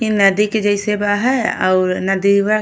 इ नदी के जैसे बा है और नदी बा।